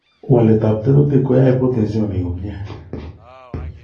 waletab tekutik koyie proteins chemomi komie.